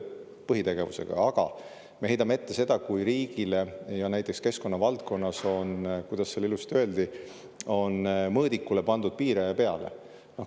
Aga me heidame ette, kui riigile on näiteks keskkonnavaldkonnas, kuidas seal ilusti öeldi, mõõdikule pandud piiraja peale.